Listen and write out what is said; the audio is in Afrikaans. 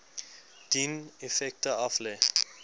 dien effekte aflê